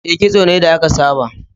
E, kitso ne da aka saba.